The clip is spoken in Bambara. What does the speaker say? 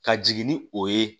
Ka jigin ni o ye